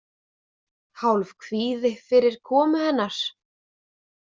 Hálfkvíði fyrir komu hennar.